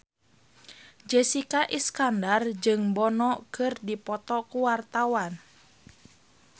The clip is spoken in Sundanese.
Jessica Iskandar jeung Bono keur dipoto ku wartawan